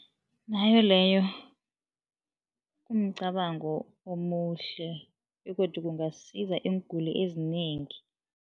Nayo leyo umcabango omuhle begodu kungasiza iinguli ezinengi.